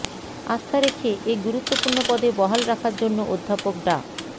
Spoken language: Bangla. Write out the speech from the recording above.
আস্থা রেখে এ গুরুত্বপূর্ণ পদে বহাল রাখার জন্য অধ্যাপক ডা